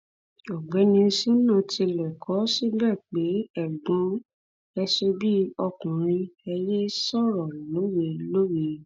ọgbẹni sina tilẹ kọ ọ síbẹ pé ẹgbọn ẹ ṣe bíi ọkùnrin ẹ yéé sọrọ lọwẹ lọwẹ